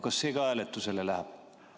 Kas see ka hääletusele läheb?